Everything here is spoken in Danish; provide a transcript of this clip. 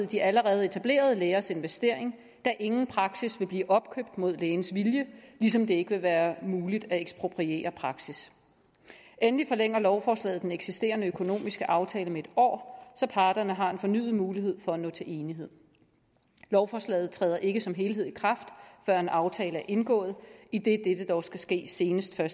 de allerede etablerede lægers investering da ingen praksis vil blive opkøbt mod lægens vilje ligesom det ikke vil være muligt at ekspropriere praksis endelig forlænger lovforslaget den eksisterende økonomiske aftale med en år så parterne har en fornyet mulighed for at nå til enighed lovforslaget træder ikke som helhed i kraft før en aftale er indgået idet dette dog skal ske senest den